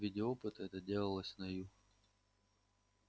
в виде опыта это делалось на ю